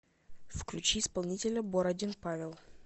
включи исполнителя бородин павел